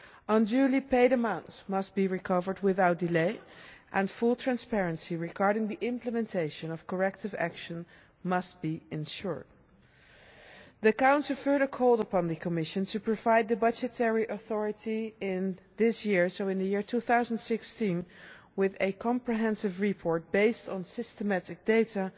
Unduly paid amounts must be recovered without delay, and full transparency regarding the implementation of corrective action must be ensured. The Council further calls upon the Commission to provide the budgetary authority in the year 2016 with a comprehensive report based on systematic data